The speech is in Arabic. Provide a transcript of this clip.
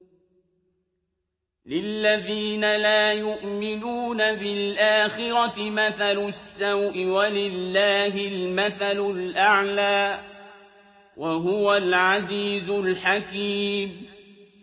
لِلَّذِينَ لَا يُؤْمِنُونَ بِالْآخِرَةِ مَثَلُ السَّوْءِ ۖ وَلِلَّهِ الْمَثَلُ الْأَعْلَىٰ ۚ وَهُوَ الْعَزِيزُ الْحَكِيمُ